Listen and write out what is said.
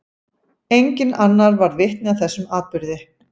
Enginn annar varð vitni að þessum atburði.